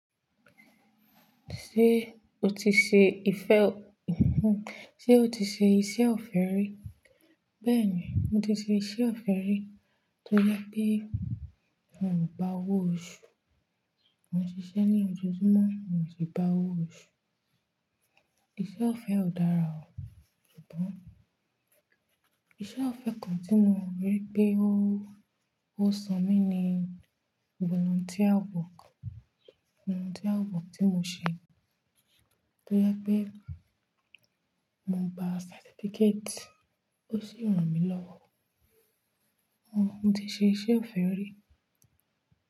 Ṣé o ti ṣe ife-- Ṣé o ti ṣe iṣẹ́ ọ̀fẹ́ rí? Bẹ́ẹ̀ni, mo ti ṣe iṣẹ́ ọ̀fẹ́ rí. Tó yẹ pé n ò gbá owo oṣú, mo n ṣiṣẹ́ ní ojoojúmọ́ mi o si gbá owo oṣú. Iṣẹ́ ọ̀fẹ́ ò dára o. Bọ. Iṣẹ́ ọ̀fẹ́ kan tí mo rí pé ó, ó san mí ni volunteer work, volunteer work tí mo ṣe. Tó yẹ pé mo gba certificate ó sì rán mi lọ́wọ́. Mm, mo ti ṣe iṣẹ́ ọ̀fẹ́ rí.